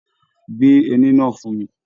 Gbé ẹní náà fún mí!